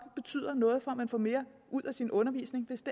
betyder noget for at man får mere ud af sin undervisning hvis